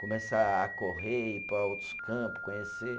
Começar a correr, ir para outros campos, conhecer.